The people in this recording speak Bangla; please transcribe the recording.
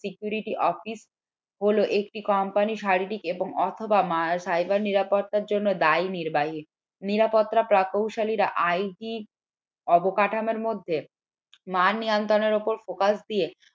security office হলো একটি company শারীরিক এবং অথবা cyber নিরাপত্তার জন্য দায় নিরাপত্তা প্রকৌশলীরা অবকাঠামোর মধ্যে মাল নিয়ন্ত্রণ এর অপর focus দিয়ে